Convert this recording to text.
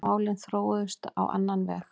Málin þróuðust á annan veg.